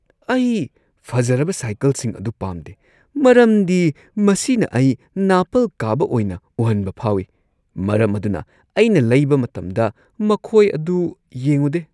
ꯑꯩ ꯐꯖꯔꯕ ꯁꯥꯏꯀꯜꯁꯤꯡ ꯑꯗꯨ ꯄꯥꯝꯗꯦ ꯃꯔꯝꯗꯤ ꯃꯁꯤꯅ ꯑꯩ ꯅꯥꯄꯜ ꯀꯥꯕ ꯑꯣꯏꯅ ꯎꯍꯟꯕ ꯐꯥꯎꯏ, ꯃꯔꯝ ꯑꯗꯨꯅ ꯑꯩꯅ ꯂꯩꯕ ꯃꯇꯝꯗ ꯃꯈꯣꯏ ꯑꯗꯨ ꯌꯦꯡꯉꯨꯗꯦ ꯫